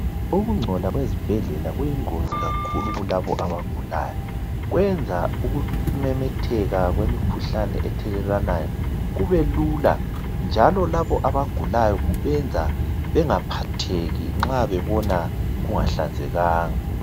Ukungcola kwezibhedlela kuyingozi kakhulu kulabo abagulayo kwenza ukumemetheka kwemikhuhlane ethelelwanayo kube lula njalo labo abagulayo kubenza bengaphatheki nxa bebona kungahlanzekanga.